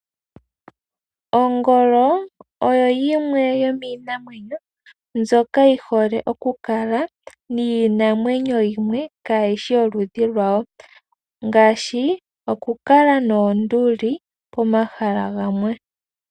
Ongolo oyo yimwe yomiinamwenyo mbyoka yi hole okukala niinamweyo yimwe kaa yishi yoludhi lwawo ngaashi okukala noonduli pomahala gamwe.